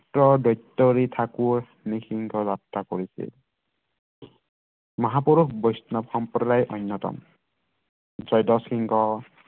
দ্বৈতৰি ঠাকুৰ নৃহিংস যাত্ৰা কৰিছিল মহাপুৰুষ বৈষ্ণৱ সম্প্ৰদায় অন্যতম জয়ধ্বজ সিংহ